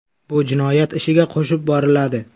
Bu jinoyat ishiga qo‘shib boriladi.